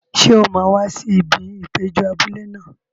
Ṣé o máa wá sí ibi ìpéjọ abúlé náà?